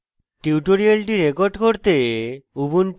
tutorial record করতে